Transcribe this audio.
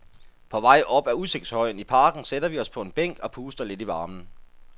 På vej op ad udsigtshøjen i parken sætter vi os på en bænk og puster lidt i varmen.